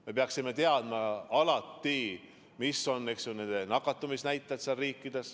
Me peaksime alati teadma, millised on nende riikide nakatumisnäitajad.